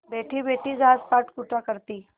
बैठीबैठी घास पात कूटा करती